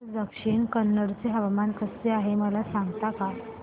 आज दक्षिण कन्नड चे हवामान कसे आहे मला सांगता का